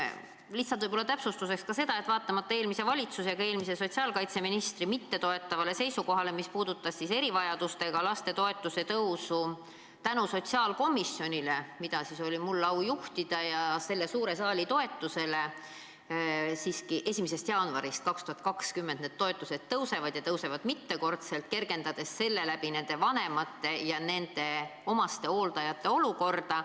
Lihtsalt võib-olla täpsustuseks ka seda, et vaatamata eelmise valitsuse mittetoetavale seisukohale, mis puudutas erivajadustega laste toetuse tõusu, tänu sotsiaalkomisjonile, mida siis oli mul au juhtida, ja selle suure saali toetusele siiski 1. jaanuarist 2020 need toetused tõusevad ja tõusevad mitmekordselt, kergendades seega nende vanemate ja omastehooldajate olukorda.